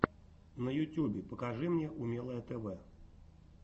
на ютьюбе покажи мне умелое тв